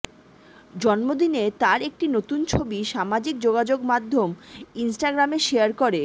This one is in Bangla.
জন্মদিনে তার একটি নতুন ছবি সামাজিক যোগাযোগ মাধ্যম ইন্সটাগ্রামে শেয়ার করে